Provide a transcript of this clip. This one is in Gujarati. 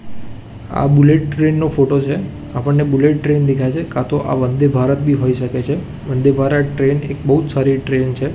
આ બુલેટ ટ્રેન નો ફોટો છે આપણને બુલેટ ટ્રેન દેખાય છે કા તો આ વન્દે ભારત બી હોય શકે છે વન્દે ભારત ટ્રેન એક બોજ સારી ટ્રેન છે.